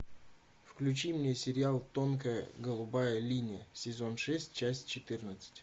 включи мне сериал тонкая голубая линия сезон шесть часть четырнадцать